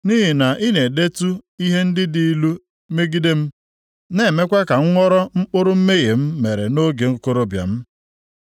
Nʼihi na ị na-edetu ihe ndị dị ilu megide m, na-emekwa ka m ghọrọ mkpụrụ mmehie m mere nʼoge okorobịa m.